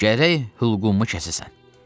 "Gərək hülqumumu kəsəsən!"